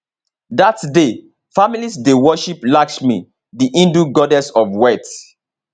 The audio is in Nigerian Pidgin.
dat day families dey worship lakshmi di hindu goddess of wealth